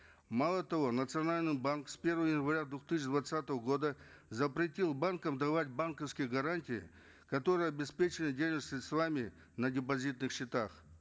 мало того национальный банк с первого января две тысячи двадцатого года запретил банкам давать банковские гарантии которые обеспечивают денежными средствами на депозитных счетах